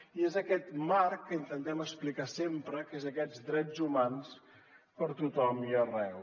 i és aquest marc que intentem explicar sempre que són aquests drets humans per a tothom i arreu